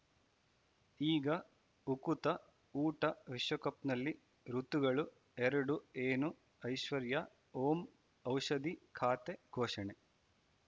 ಈಗ ಉಕುತ ಊಟ ವಿಶ್ವಕಪ್‌ನಲ್ಲಿ ಋತುಗಳು ಎರಡು ಏನು ಐಶ್ವರ್ಯಾ ಓಂ ಔಷಧಿ ಖಾತೆ ಘೋಷಣೆ